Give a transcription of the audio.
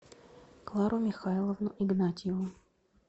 клару михайловну игнатьеву